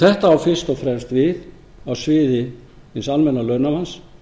þetta á fyrst og fremst við á sviði hins almenna launamanns